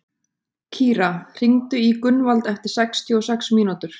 Kíra, hringdu í Gunnvald eftir sextíu og sex mínútur.